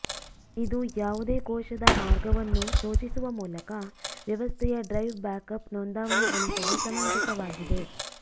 ಇದು ಯಾವುದೇ ಕೋಶದ ಮಾರ್ಗವನ್ನು ಸೂಚಿಸುವ ಮೂಲಕ ವ್ಯವಸ್ಥೆಯ ಡ್ರೈವ್ ಬ್ಯಾಕ್ಅಪ್ ನೋಂದಾವಣೆ ಉಳಿಸಲು ಸಮಂಜಸವಾಗಿದೆ